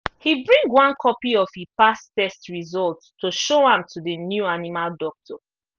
he bring one copy of e past test result to show am to the new animal doctor